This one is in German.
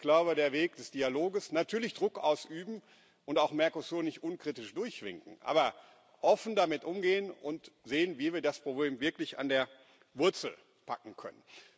Ich glaube, der Weg des Dialoges natürlich Druck ausüben und auch Mercosur nicht unkritisch durchwinken, aber offen damit umgehen und sehen, wie wir das Problem wirklich an der Wurzel packen können.